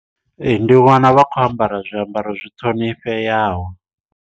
Ee ndi wana vha khou ambara zwiambaro zwi ṱhonifheaho.